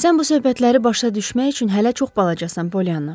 Sən bu söhbətləri başa düşmək üçün hələ çox balacasan, Pollyanna.